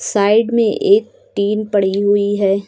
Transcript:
Side में एक tin पड़ी हुई है।